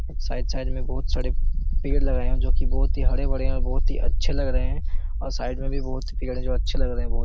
Side side में बहुत सारे पेड़ लगाए है जो की बहुत ही हरे-भरे है बहुत ही अच्छे लग रहे है और साइड में भी बहुत ही पेड़ जो अच्छे लग रहे है बहोत ।